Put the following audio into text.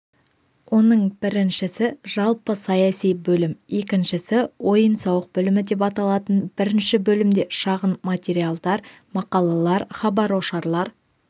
оның біріншісі жалпы саяси бөлім екіншісі ойын-сауық бөлімі деп аталатын бірінші бөлімде шағын материалдар мақалалар хабар-ошарлар